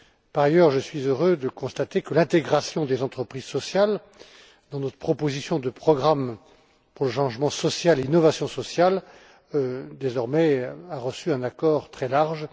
Par ailleurs, je suis heureux de constater que l'intégration des entreprises sociales dans notre proposition de programme pour le changement social et l'innovation sociale a désormais reçu un accord très large.